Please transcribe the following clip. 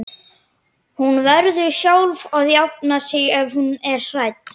Hún verður sjálf að jafna sig ef hún er hrædd.